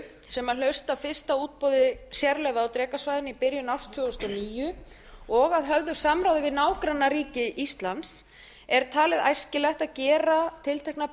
sem hlaust af fyrsta útboði sérleyfa á drekasvæðinu í byrjun árs tvö þúsund og níu og að höfðu samráði við nágrannaríki íslands er talið æskilegt að gera tilteknar